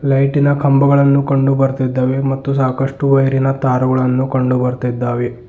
ಲೈಟಿನ ಕಂಬಗಳನ್ನು ಕಂಡು ಬರುತ್ತಿದ್ದಾವೆ ಮತ್ತು ಸಾಕಷ್ಟು ವೈರಿನ ದಾರಗಳನ್ನು ಕಂಡು ಬರುತ್ತಿದ್ದಾವೆ.